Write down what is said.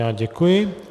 Já děkuji.